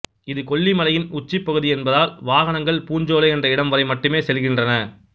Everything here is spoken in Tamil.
இது கொல்லிமலையின் உச்சிப்பகுதியென்பதால் வாகனங்கள் பூஞ்சோலை என்ற இடம்வரை மட்டுமே செல்கின்றன